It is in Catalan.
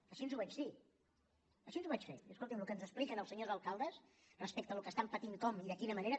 així ho vaig dir així ho vaig fer de dir escoltin el que ens expliquen els senyors alcaldes respecte al que estan patint com i de quina manera